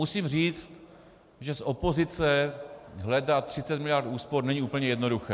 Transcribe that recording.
Musím říct, že z opozice hledat 30 miliard úspor není úplně jednoduché.